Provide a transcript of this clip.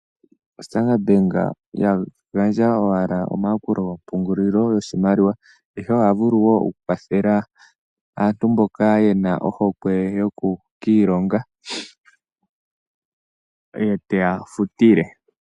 Standard bank iha gandja owala omayakulo guupungulilo ihe oha vulu wo oku kwathela aantu mboka yena ohokwe yoku kiilonga ye teya futile.